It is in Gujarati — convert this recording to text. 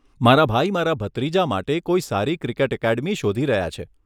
મારા ભાઈ મારા ભત્રીજા માટે કોઈ સારી ક્રિકેટ એકેડમી શોધી રહ્યા છે.